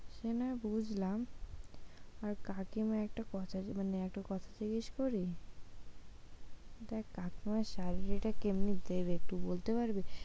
সে নয় বুঝলাম আর কাকিমা একটা কথা, মানে একটা কথা জিজ্ঞেস করি? দেখ কাকিমা salary টা কেমনি দেবে সেটা একটু বলতে পারবি?